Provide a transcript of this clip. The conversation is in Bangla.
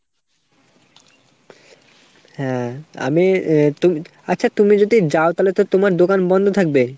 হ্যাঁ আমি আ আচ্ছা তুমি যদি যাও তালে তো তোমার দোকান বন্দ থাকবে ?